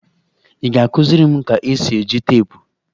Ị ga-akụziri m ka-esi eji teepụ?